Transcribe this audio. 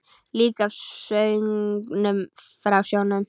Líka af söngnum frá sjónum.